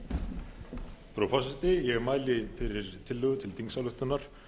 frú forseti ég mæli fyrir tillögu til þingsályktunar